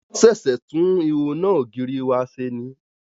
Wọ́n ṣẹ̀ṣẹ̀ tún ihò iná ògiri wa ṣe ni.